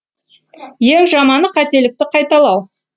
ең жаманы қателікті қайталау